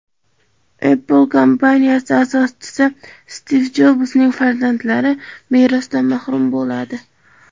Apple kompaniyasi asoschisi Stiv Jobsning farzandlari merosdan mahrum bo‘ladi.